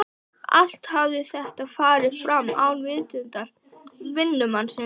Allt hafði þetta farið fram án vitundar vinnumannsins.